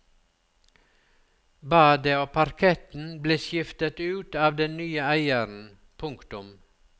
Badet og parketten ble skiftet ut av den nye eieren. punktum